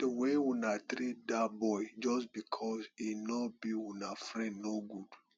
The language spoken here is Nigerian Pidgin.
the way una treat dat boy just because e no be una friend no good